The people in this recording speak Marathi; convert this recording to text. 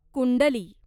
कुंडली